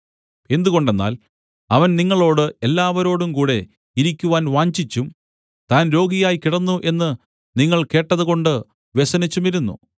എന്തുകൊണ്ടെന്നാൽ അവൻ നിങ്ങളോട് എല്ലാവരോടുംകൂടെ ഇരിക്കുവാൻ വാഞ്ചിച്ചും താൻ രോഗിയായി കിടന്നു എന്ന് നിങ്ങൾ കേട്ടതുകൊണ്ട് വ്യസനിച്ചുമിരുന്നു